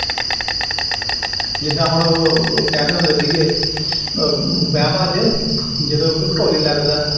ਜਿਦਾਂ ਹੁਣ ਕਹਿੰਦੇ ਹੁੰਦੇ ਸੀਗੇ ਆਹ ਵਿਆਵਾਂ ਜਦੋਂ ਢੋਲੀ ਲੱਗਦਾ